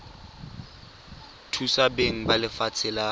thusa beng ba lefatshe la